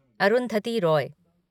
Arundhati Roy